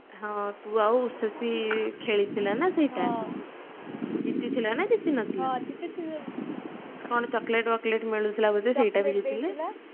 ହଁ ତୁ ଆଉ ଉଷିଶ୍ରୀ ଖେଳିଥିଲ ନ ସେଇଟା ଜିତିଥିଲ ନ ଜିତି ନଥିଲ କଣ chocolate ମିଳୁଥିଲା ବୋଧେ ସେଇଟା ବି ଦେଇଥିଲେ